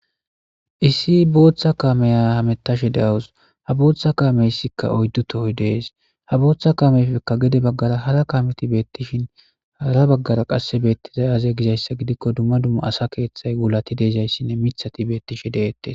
Issi booththa kameya hametashe deawus ha booththa kaameyssikka oyddu tohoy dees ha booththa kamefekka gede baggara hara kameti beettishin hara baggara qasse beettizay aze gizayssa gidikko dumma dumma asa keeththay wulati deezayssinne mithati beettishe deettes.